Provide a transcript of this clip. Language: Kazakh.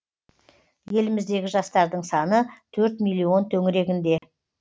еліміздегі жастардың саны төрт миллион төңірегінде